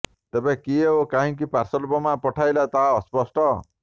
ତେବେ କିଏ ଓ କାହିଁକି ପାର୍ସଲ ବୋମା ପଠାଇଥିଲା ତାହା ଅସ୍ପଷ୍ଟ